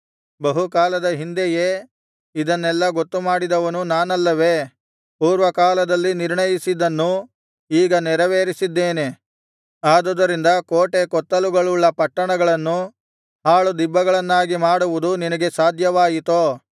ಬಹು ಕಾಲದ ಹಿಂದೆಯೇ ಇದನೆಲ್ಲ ಗೊತ್ತುಮಾಡಿದವನು ನಾನಲ್ಲವೇ ಪೂರ್ವಕಾಲದಲ್ಲಿ ನಿರ್ಣಯಿಸಿದ್ದನ್ನು ಈಗ ನೆರವೇರಿಸಿದ್ದೇನೆ ಆದುದರಿಂದ ಕೋಟೆ ಕೊತ್ತಲುಗಳುಳ್ಳ ಪಟ್ಟಣಗಳನ್ನು ಹಾಳುದಿಬ್ಬಗಳನ್ನಾಗಿ ಮಾಡುವುದು ನಿನಗೆ ಸಾಧ್ಯವಾಯಿತೋ